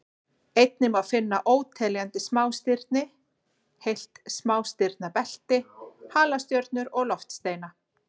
Einnig má finna óteljandi smástirni, heilt smástirnabelti, halastjörnur og loftsteina.